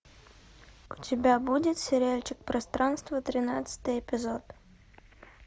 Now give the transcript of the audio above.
у тебя будет сериальчик пространство тринадцатый эпизод